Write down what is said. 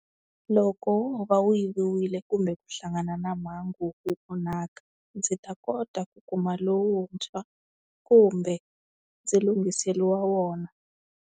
Loko wo va wu yiviwile kumbe ku hlangana na mhangu wu onhaka, ndzi ta kota ku kuma lowuntshwa, kumbe, ndzi lunghiseriwa wona.